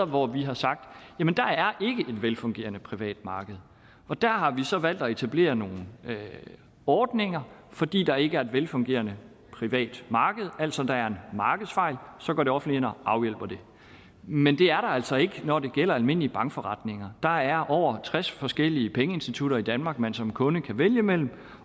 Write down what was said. hvor vi har sagt at et velfungerende privat marked og der har vi så valgt at etablere nogle ordninger fordi der ikke er et velfungerende privat marked altså der er en markedsfejl og så går det offentlige ind og afhjælper den men det er der altså ikke når det gælder almindelige bankforretninger der er over tres forskellige pengeinstitutter i danmark man som kunde kan vælge imellem